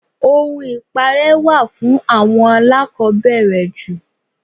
Ohun ipare wà fún àwọn alakobere jù.